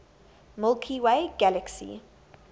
milky way galaxy